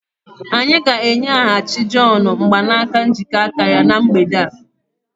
Anyị ga-enyeghachi John mgbanaka njikọ aka ya na mgbede a.